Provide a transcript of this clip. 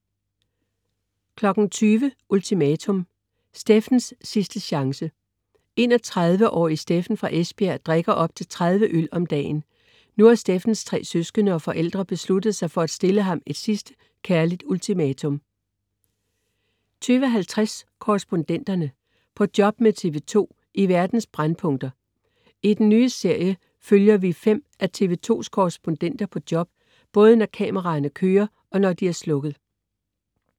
20.00 Ultimatum. Steffens sidste chance. 31-årige Steffen fra Esbjerg drikker op til 30 øl om dagen. Nu har Steffens tre søskende og forældre besluttet sig for at stille ham et sidste kærligt ultimatum 20.50 Korrespondenterne. På job med TV 2 i verdens brændpunkter. I den nye serie følger vi fem af TV 2s korrespondenter på job, både når kameraerne kører, og når de er slukket